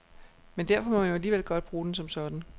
Men derfor må man jo alligevel godt bruge den som sådan.